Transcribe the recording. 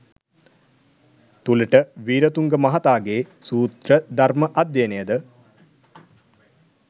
තුළට වීරතුංග මහතාගේ සූත්‍ර ධර්ම අධ්‍යයනය ද